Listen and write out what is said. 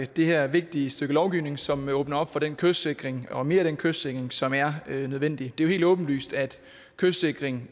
det her vigtige stykke lovgivning som åbner op for den kystsikring og mere af den kystsikring som er nødvendig det er jo helt åbenlyst at kystsikring